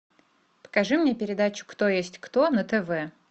покажи мне передачу кто есть кто на тв